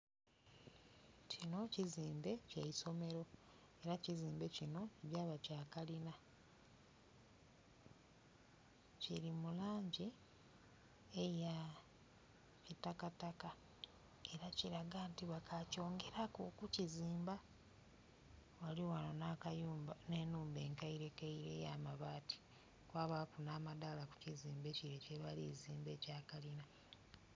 Kino kizimbe ky'eisomero era ekizimbe kino kigya ba kya kalina. Kili mu langi eya kitakataka era kilaga nti bakakyongeraku okukizimba. Ghaligho ghano na kayumba n'enhumba enkeirekeire ey'amabaati, kwabaku n'amadaala ku kizimbe kire kyebali kuzimba ekya kalina.